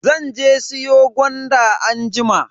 Zan je siyo gwanda anjima.